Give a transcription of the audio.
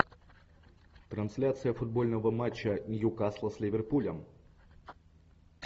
трансляция футбольного матча ньюкасла с ливерпулем